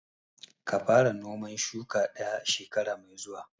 Ka fara noman shuka ɗaya shekara mai zuwa!